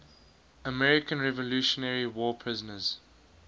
american revolutionary war prisoners